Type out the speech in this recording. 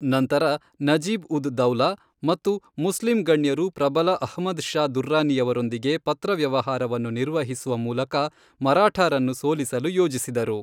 ನಂತರ ನಜೀಬ್ ಉದ್ ದೌಲಾ ಮತ್ತು ಮುಸ್ಲಿಂ ಗಣ್ಯರು ಪ್ರಬಲ ಅಹ್ಮದ್ ಷಾ ದುರ್ರಾನಿಯವರೊಂದಿಗೆ ಪತ್ರವ್ಯವಹಾರವನ್ನು ನಿರ್ವಹಿಸುವ ಮೂಲಕ ಮರಾಠರನ್ನು ಸೋಲಿಸಲು ಯೋಜಿಸಿದರು.